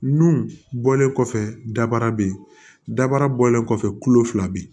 Nu bɔlen kɔfɛ dabara be yen dabara bɔlen kɔfɛ kulo fila be yen